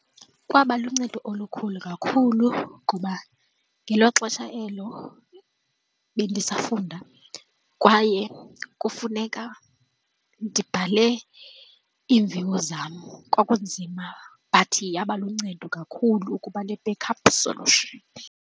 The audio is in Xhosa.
Kwaba luncedo olukhulu kakhulu ngoba ngelo xesha elo bendisafunda kwaye kufuneka ndibhale iimviwo zam, kwakunzima but yaba luncedo kakhulu ukuba ne-backup solution.